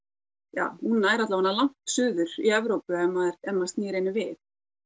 ja hún nær langt suður í Evrópu ef maður ef maður snýr henni við